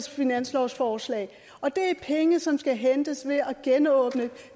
finanslovsforslag og det er penge som skal hentes ved at genåbne